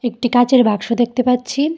একটি কাচের বাক্স দেখতে পাচ্ছি।